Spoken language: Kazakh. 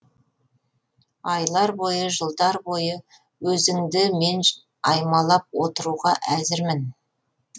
айлар бойы жылдар бойы өзіңді мен аймалап отыруға әзірмін